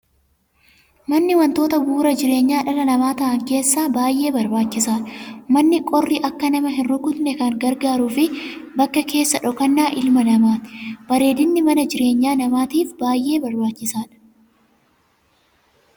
Manni waantota bu'uura jireenyaa dhala namaa ta'an keessa isa baayyee barbaachisaadha. Manni qorri akka nama hin rukkutne kan gargaaruu fi bakka keessa dhokannaa ilma namaati. Bareedinni manaa jireenya namaatiif baayyee barbaachisaadha.